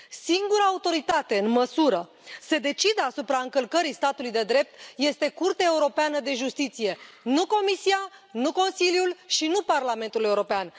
Singura autoritate în măsură să decidă asupra încălcării statului de drept este Curtea Europeană de Justiție, nu Comisia, nu Consiliul și nu Parlamentul European.